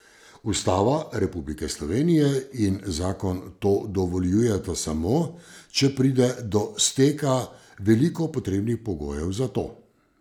Ustava Republike Slovenije in zakon to dovoljujeta samo, če pride do steka veliko potrebnih pogojev za to.